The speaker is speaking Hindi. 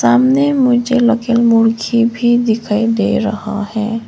सामने मुझे रखी मुर्गी भी दिखाई दे रहा है।